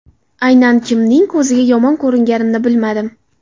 Aynan kimning ko‘ziga yomon ko‘ringanimni bilmadim.